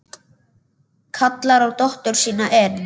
Kallar á dóttur sína inn.